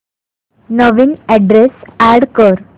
नवीन address add कर